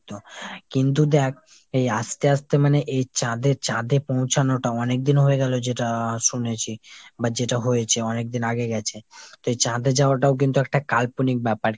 কিন্তু দ্যাখ এই আস্তে আস্তে মানে এই চাঁদে চাঁদে পৌঁছানোটাও অনেকদিন হয়েগেলো যেটা শুনেছি। বা যেটা হয়েছে অনেকদিন আগে গেছে। তো এই চাঁদে যাওয়াটাও কিন্তু একটা কাল্পনিক ব্যাপার।